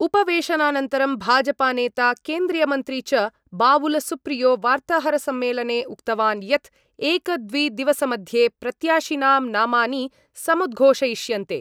उपवेशनानन्तरं भाजपानेता केन्द्रीयमन्त्री च बाबुलसुप्रियो वार्ताहरसम्मेलने उक्तवान् यत् एकद्विदिवसमध्ये प्रत्याशिनां नामानि समुद्घोषयिष्यन्ते।